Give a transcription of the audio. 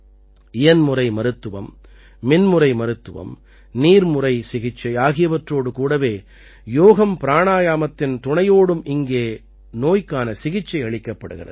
இயன்முறைமருத்துவம் மின்முறைமருத்துவம் நீர்முறைசிகிச்சை ஆகியவற்றோடு கூடவே யோகம்பிராணாயாமத்தின் துணையோடும் இங்கே நோய்க்கான சிகிச்சை அளிக்கப்படுகிறது